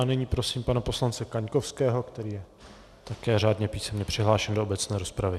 A nyní prosím pana poslance Kaňkovského, který je také řádně písemně přihlášen do obecné rozpravy.